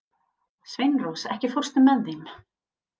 Sveinrós, ekki fórstu með þeim?